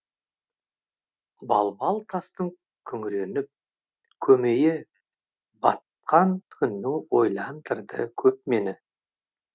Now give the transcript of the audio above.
балбал тастың күңіреніп көмейі батқан күнің ойландырды көп мені